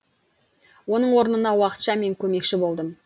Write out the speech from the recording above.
оның орнына уақытша мен көмекші болдым